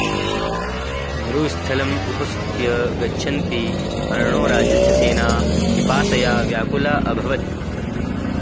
मरुस्थलम् उपसृत्य गच्छन्ती अर्णोराजस्य सेना पिपासया व्याकुला अभवत्